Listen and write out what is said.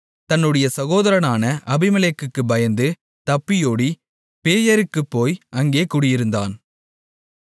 தன்னுடைய சகோதரனான அபிமெலேக்குக்குப் பயந்து தப்பியோடி பேயேருக்குப் போய் அங்கே குடியிருந்தான்